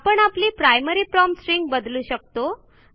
आपण आपली primary prompt string बदलू शकतो